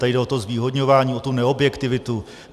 Tady jde o to zvýhodňování, o tu neobjektivitu.